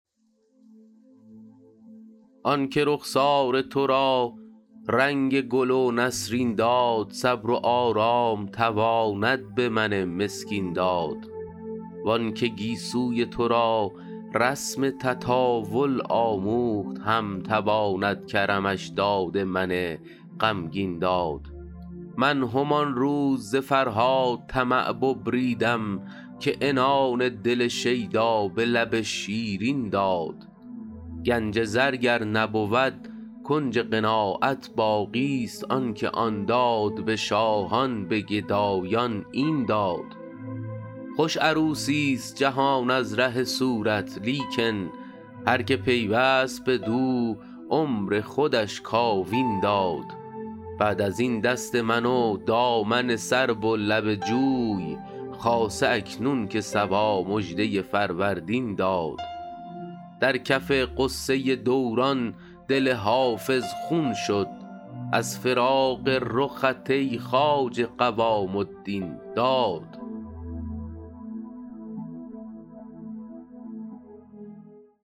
آن که رخسار تو را رنگ گل و نسرین داد صبر و آرام تواند به من مسکین داد وان که گیسوی تو را رسم تطاول آموخت هم تواند کرمش داد من غمگین داد من همان روز ز فرهاد طمع ببریدم که عنان دل شیدا به لب شیرین داد گنج زر گر نبود کنج قناعت باقیست آن که آن داد به شاهان به گدایان این داد خوش عروسیست جهان از ره صورت لیکن هر که پیوست بدو عمر خودش کاوین داد بعد از این دست من و دامن سرو و لب جوی خاصه اکنون که صبا مژده فروردین داد در کف غصه دوران دل حافظ خون شد از فراق رخت ای خواجه قوام الدین داد